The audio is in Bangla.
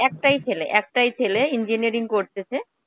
একটাই ছেলে, একটাই ছেলে. engineering করতেছে.